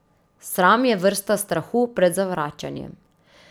Sram je vrsta strahu pred zavračanjem.